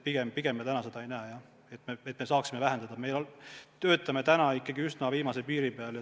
Pigem me seda ei näe, me töötame ikkagi üsna viimase piiri peal.